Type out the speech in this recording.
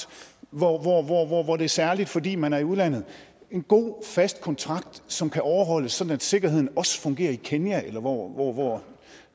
hvor det er særligt fordi man er i udlandet en god fast kontrakt som kan overholdes sådan at sikkerheden også fungerer i kenya eller hvor